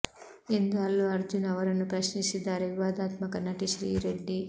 ಎಂದು ಅಲ್ಲು ಅರ್ಜುನ್ ಅವರನ್ನು ಪ್ರಶ್ನಿಸಿದ್ದಾರೆ ವಿವಾದಾತ್ಮಕ ನಟಿ ಶ್ರೀ ರೆಡ್ಡಿ